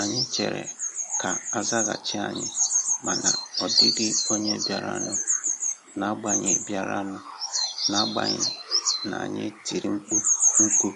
Anyị chèrè ka azaghachi ànyị, ma na ọ dịghị ònye biara nụ n'agbanyi biara nụ n'agbanyi n'anyi tiri mkpu nku